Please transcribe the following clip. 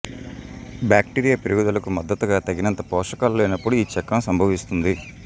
bacteria పెరుగుదలకు మద్దతుగా తగినంత పోషకాలు లేనప్పుడు ఈ చక్రం సంభవిస్తుంది